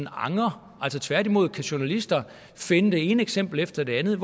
angrer tværtimod kan journalister finde det ene eksempel efter det andet